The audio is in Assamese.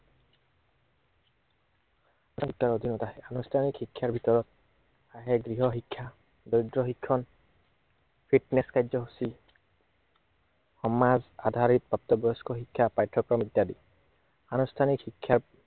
আনুষ্ঠানিক শিক্ষাৰ ভিতৰত, আহে গৃহ শিক্ষা, গদ্য় শিক্ষন, fitness কাৰ্যসূচী, সমাজ আধাৰিত প্ৰাপ্তবয়স্ক শিক্ষা পাঠ্য়ক্ৰম ইত্য়াদি আনুষ্ঠানিক শিক্ষা